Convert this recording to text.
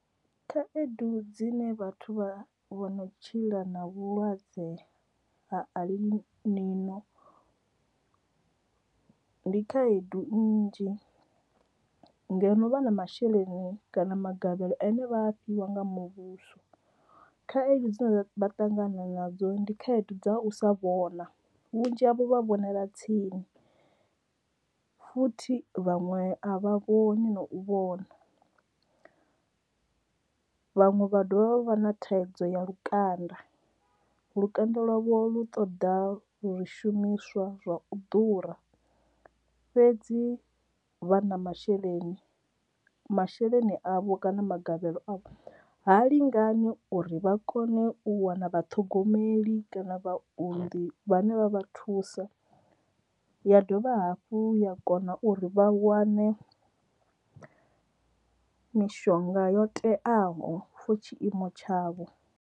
Khaedu dzine vhathu vha vho no tshila na vhulwadze ha alibino ndi khaedu nnzhi, ngeno no vha na masheleni kana magavhelo ane vha fhiwa nga muvhuso khaedu dzine vha ṱangana nadzo ndi khaedu dza u sa vhona vhunzhi havho vha vhonela tsini futhi vhaṅwe a vha vhoni na u vhona. Vhaṅwe vha dovha vha vhana thaidzo ya lukanda lukanda lwavho lu ṱoḓa zwishumiswa zwa u ḓura fhedzi vha na masheleni masheleni avho kana magavhelo a vho ha lingani uri vha kone u wana vhathogomeli kana vhaunḓi vhane vha vha thusa ya dovha hafhu ya kona uri vha wane mishonga yo teaho fo tshiimo tshavho.